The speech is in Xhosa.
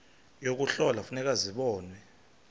yokuhlola kufuneka zibonwe